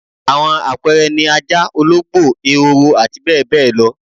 Àwọn àpẹẹre ni ajá, olóógbò, ehoro àti bẹẹ bẹẹ lo